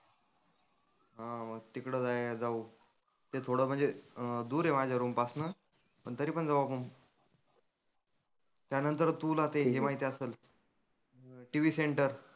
हा मग तीकड जाय जाऊ. ते थोडं म्हणजे अं आहे माझ्या रूम पासनं पण तरी पण जाऊ आपण. त्यानंतर तुला ते हे माहिती असनं TV सेंटर